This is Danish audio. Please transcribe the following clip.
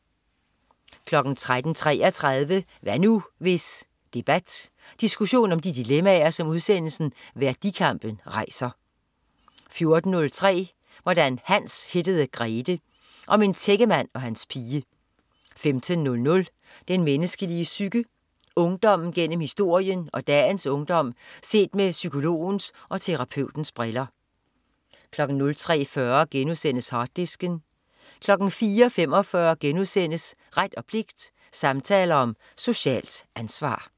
13.33 Hvad nu, hvis? Debat. Diskussion om de dilemmaer, som udsendelsen Værdikampen rejser 14.03 Hvordan Hans hittede Grethe. Om en tækkemand og hans pige 15.00 Den menneskelige psyke. Ungdommen gennem historien og dagens ungdom set med psykologens og terapeutens briller 03.45 Harddisken* 04.45 Ret og pligt, samtaler om socialt ansvar*